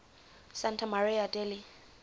santa maria degli